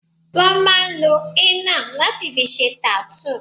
Wón máa ń lo henna láti fi ṣe tattoo